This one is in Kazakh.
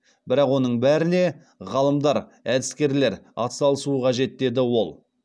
бірақ оның бәріне ғалымдар әдіскерлер атсалысуы қажет деді ол